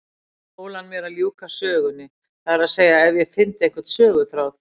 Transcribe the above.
Fól hann mér að ljúka sögunni, það er að segja ef ég fyndi einhvern söguþráð.